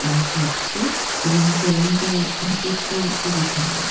আহ কাটছে এবং স্যালন টা ভেতরটা খুবই সুন্দর।